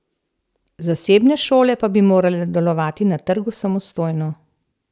Zasebne šole pa bi morale delovati na trgu samostojno.